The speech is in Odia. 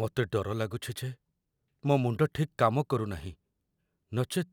ମୋତେ ଡର ଲାଗୁଛି ଯେ ମୋ ମୁଣ୍ଡ ଠିକ୍‌ କାମ କରୁନାହିଁ, ନଚେତ୍,